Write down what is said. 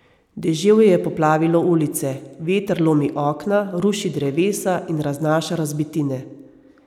Deževje je poplavilo ulice, veter lomi okna, ruši drevesa in raznaša razbitine.